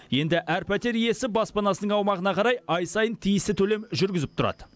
енді әр пәтер иесі баспанасының аумағына қарай ай сайын тиісті төлем жүргізіп тұрады